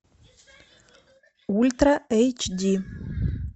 ультра эйч ди